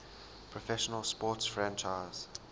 professional sports franchise